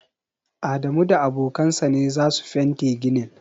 Adamu da abokan sa ne za su fente ginin.